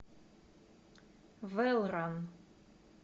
вэллран